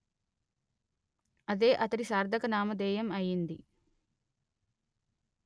అదే అతడి సార్ధక నామధేయం అయింది